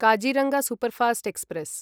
Kaziranga superfast express